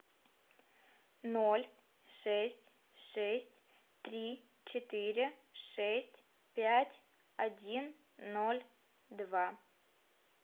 ноль шесть шесть три четыре шесть пять один ноль два